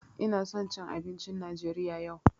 Ina son jcn abincin Najeriya yau.